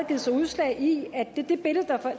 givet sig udslag i det billede